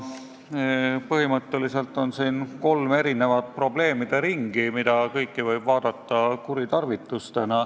Põhimõtteliselt on siin kolm probleemide ringi, mida kõiki võib pidada kuritarvitusteks.